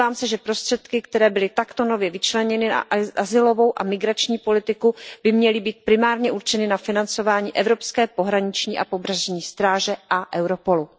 Domnívám se, že prostředky, které byly takto nově vyčleněny na azylovou a migrační politiku, by měly být primárně určeny na financování evropské pohraniční a pobřežní stráže a Europolu.